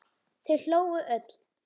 Þau hlógu öll.